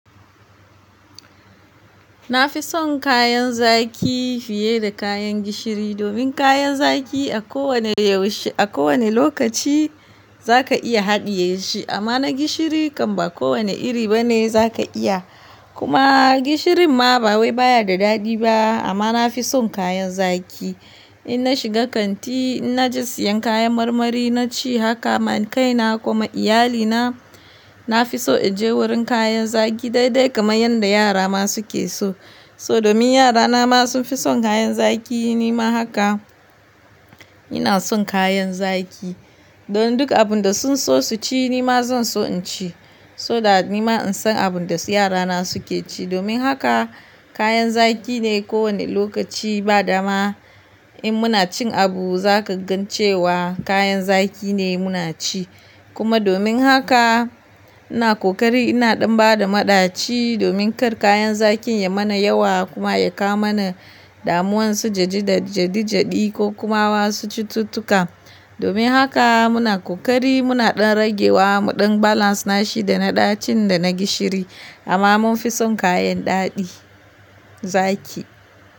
Na fi son kayan zaki fiye da kayan gishiri domin kayan zaki a kowane yaushe a kowane lokaci za ka iya haɗiye shi amma na gishiri kam ba kowane iri bane za ka iya. Kuma gishirin ma ba wai baya da daɗi ba amma na fi son kayan zaki. In na shiga kanti, in na je siyan kayan marmari na ci haka man kaina ko ma iyalina. Na fi so in je wurin kayan zaki daidai kaman yanda yara ma suke so. So domin yarana ma sun fi son kayan zaki nima haka. Ina son kayan zaki. Don duk abun da sun so su ci nima zan so in ci so da nima in san abun da su-yarana suke ci. Domin haka kayan zaki ne kowane lokaci ba dama in muna cin abu za ka gan cewa kayan zaki ne muna ci. Kuma domin haka ina kokari ina ɗan bada maɗaci domin kar kayan zakin ya mana yawa kuma ya kawo mana damuwan su gejida-jedijadi ko kuma wasu cututtuka. Domin haka muna kokari muna ɗan ragewa mu ɗan balance nashi da na ɗacin da na gishiri amma mun fi son kayan daɗi zaki.